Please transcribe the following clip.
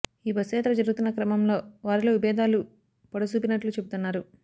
ఈ బస్సు యాత్ర జరుగుతున్న క్రమంలో వారిలో విభేదాలు పొడసూపినట్లు చెబుతున్నారు